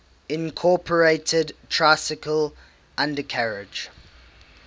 incorporated tricycle undercarriage